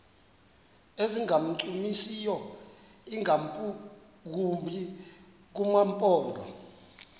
ezingancumisiyo ingakumbi kumaphondo